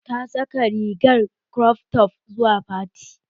Ta saka rigar krof tof zuwa fatin